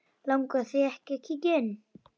Langar þig að kíkja inn?